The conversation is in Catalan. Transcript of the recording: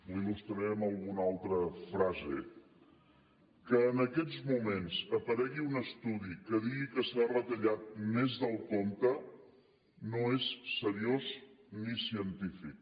li ho il·alguna altra frase que en aquests moments aparegui un estudi que digui que s’ha retallat més del compte no és seriós ni científic